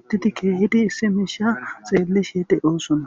uttidi keehidi issi miisha xeellishe deyoosona